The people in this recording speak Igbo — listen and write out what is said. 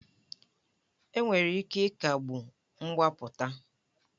Enwere ike ịkagbu mgbapụta